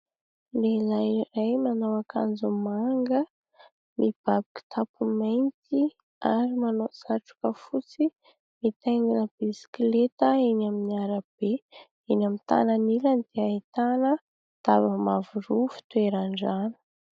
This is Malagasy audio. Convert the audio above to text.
Lehilahy iray manao akanjo manga, mibaby kitapo mainty, ary manao satroka fotsy, mitaingina bisikileta eny amoron'ny arabe. Eny amin'ny tanany ilany dia ahitana daba mavo roa fitoeran-drano.